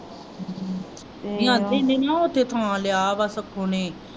ਨਾ ਓਥੇ ਥਾਂ ਲਿਆ ਵਾ ਸੂਖੁ ਨੇ।